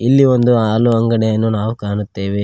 ಇಲ್ಲಿ ಒಂದು ಹಾಲು ಅಂಗಡಿಯನ್ನು ನಾವು ಕಾಣುತ್ತೇವೆ.